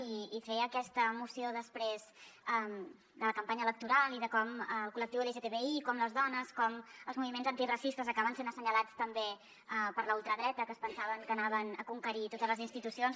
i fer aquesta moció després de la campanya electoral i de com el col·lectiu lgtbi com les dones com els moviments antiracistes acaben sent assenyalats també per la ultradreta que es pensaven que conqueririen totes les institucions